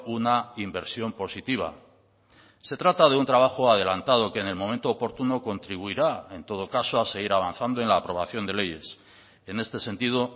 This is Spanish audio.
una inversión positiva se trata de un trabajo adelantado que en el momento oportuno contribuirá en todo caso a seguir avanzando en la aprobación de leyes en este sentido